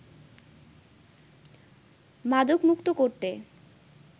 মাদকমুক্ত করতে